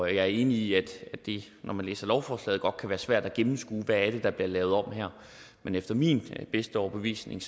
er enig i at det når man læser lovforslaget godt kan være svært at gennemskue hvad det er der bliver lavet om her men efter min bedste overbevisning